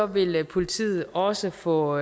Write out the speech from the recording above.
vil politiet også få